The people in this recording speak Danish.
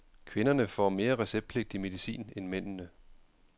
Kvinderne får mere receptpligtig medicin end mændene.